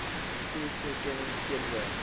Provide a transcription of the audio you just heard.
mtur toekenning teenoor